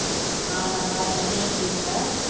அஹ் நல்லா இருக்கேன் நீ எப்படி இருக்க